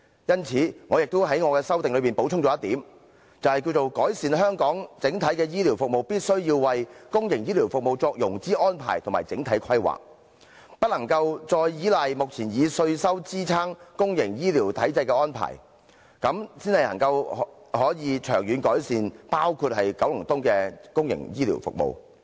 因此，我在修正案補充一點，便是改善香港整體醫療服務，必須為公營醫療服務作融資安排及整體規劃，不可繼續依賴目前以稅收支撐公營醫療體制的安排，這樣才能長遠改善包括九龍東的公營醫療服務。